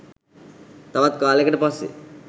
තවත් කාලෙකට පස්සෙ